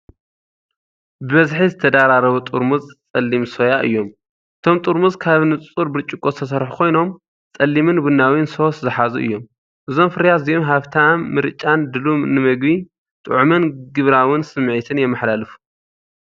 ብብዝሒ ዝተደራረቡ ጥርሙዝ ጸሊም ሶያ እዮም። እቶም ጥርሙዝ ካብ ንጹር ብርጭቆ ዝተሰርሑ ኮይኖም ጸሊምን ቡናዊን ሶስ ዝሓዙ እዮም። እዞም ፍርያት እዚኦም ሃብታም ምርጫን ድሉው ንመግቢ፡ ጥዑምን ግብራውን ስምዒትን የመሓላልፉ።